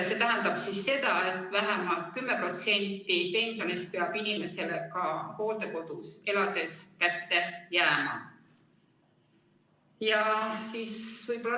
See tähendab seda, et vähemalt 10% pensionist peab inimesele ka hooldekodus elades kätte jääma.